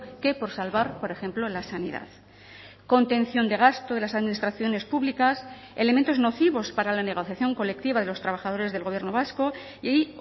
que por salvar por ejemplo la sanidad contención de gasto de las administraciones públicas elementos nocivos para la negociación colectiva de los trabajadores del gobierno vasco y hay